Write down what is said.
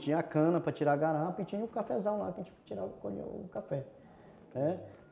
Tinha a cana para tirar a garapa e tinha o cafezal lá para tirar, colher o café, né.